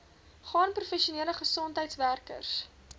span professionele gesondheidswerkers